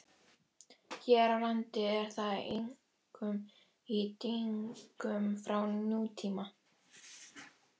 Hér á landi er það einkum í dyngjum frá nútíma.